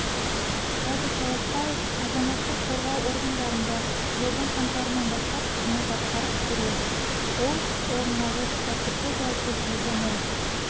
радик таласбаев азаматтық қорғау органдарында жылдың қаңтарынан бастап қызмет атқарып келеді ол орындағыш тәртіпті жауапкершілігі мол